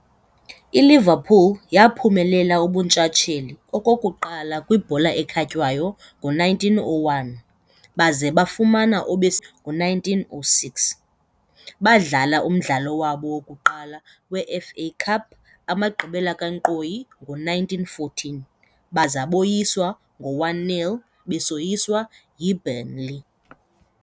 ILiverpool yaaphumelela ubuntshatsheli okokuqala kwibhola ekhatywayo ngo1901, baza bafumana obesibini ngo1906. Baadlala umdlalo wabo wokuqala weFA CUP amagqibela kankqoyi ngo-1914, baza boyiswa ngo-1-0 besoyiswa yBurnley.